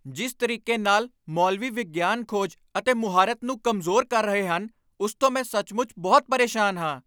ਜਿਸ ਤਰੀਕੇ ਨਾਲ ਮੌਲਵੀ ਵਿਗਿਆਨਕ ਖੋਜ ਅਤੇ ਮੁਹਾਰਤ ਨੂੰ ਕਮਜ਼ੋਰ ਕਰ ਰਹੇ ਹਨ, ਉਸ ਤੋਂ ਮੈਂ ਸੱਚਮੁੱਚ ਬਹੁਤ ਪਰੇਸ਼ਾਨ ਹਾਂ।